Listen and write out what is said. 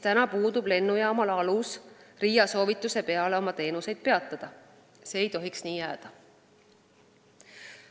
Praegu puudub lennujaamal alus RIA soovituse peale oma teenuseid peatada, aga see ei tohiks nii jääda.